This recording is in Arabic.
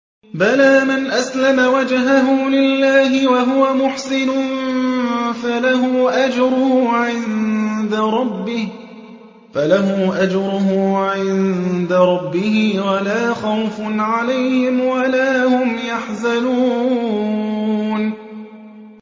بَلَىٰ مَنْ أَسْلَمَ وَجْهَهُ لِلَّهِ وَهُوَ مُحْسِنٌ فَلَهُ أَجْرُهُ عِندَ رَبِّهِ وَلَا خَوْفٌ عَلَيْهِمْ وَلَا هُمْ يَحْزَنُونَ